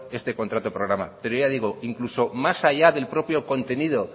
este contrato programa pero ya digo incluso más allá del propio contenido